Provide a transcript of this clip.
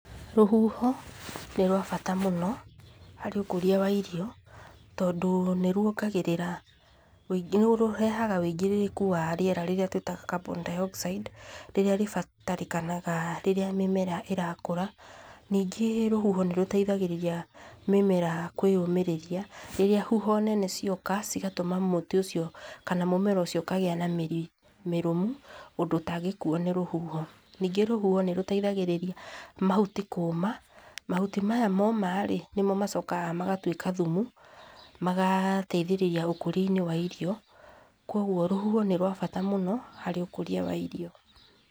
Rũhuho nĩ rwabata mũno harĩ ũkũria wa irio tondũ nĩ rũongagĩrĩra, nĩ rũrehaga wũingirĩrĩku wa rĩera rĩrĩa rĩrĩa tũĩtaga Carbon dioxide, rĩrĩa rĩbatarĩkanaga rĩrĩa mĩmera ĩrakũra. Ningĩ rũhuho nĩ rũteithagĩrĩria mĩmera kwĩyũmĩrĩria rĩrĩa huho nene cioka cigatũma mũtĩ ũcio, kana mũmera ũcio ũkagĩa na mĩri mĩrũmu ũndũ ũtangĩkuuo nĩ rũhuho. Ningĩ rũhuho nĩ rũteithagĩrĩria mahuti kũũma. Mahuti maya momarĩ, nĩmo macokaga magatuĩka thumu, magateithĩrĩria ũkũria-inĩ wa irio. Koguo rũhuho nĩ rwabata mũno harĩ ũkũria wa irio.